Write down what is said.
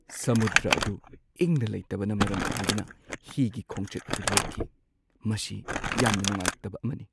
ꯁꯃꯨꯗ꯭ꯔ ꯑꯗꯨ ꯏꯪꯅ ꯂꯩꯇꯕꯅ ꯃꯔꯝ ꯑꯣꯏꯗꯨꯅ ꯍꯤꯒꯤ ꯈꯣꯡꯆꯠ ꯑꯗꯨ ꯂꯦꯞꯈꯤ, ꯃꯁꯤ ꯌꯥꯝꯅ ꯅꯨꯡꯉꯥꯏꯇꯕ ꯑꯃꯅꯤ꯫